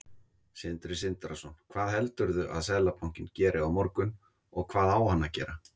Sindri Sindrason: Hvað heldurðu að Seðlabankinn geri á morgun, og hvað á hann að gera?